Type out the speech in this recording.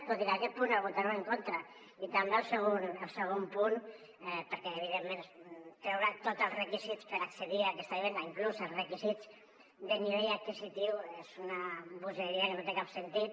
tot i que aquest punt el votarem en contra i també el segon punt perquè evidentment treure tots els requisits per accedir a aquesta vivenda inclús els requisits de nivell adquisitiu és una bogeria que no té cap sentit